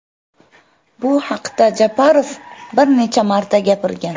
Bu haqda Japarov bir necha marta gapirgan.